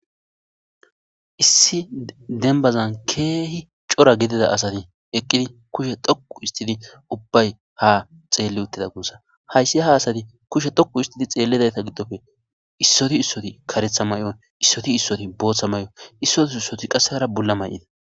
Issi ago demba cora asati eqidi kushe dhoqu histidi ubbay ha xeli uttida gusako. Hayti ha asati kushe dhoqu histidi xeelizayta gidoppe issoy issoy karethi mayo issoy issoy bothay mayo isoti isoti qase hara bula mayo mayida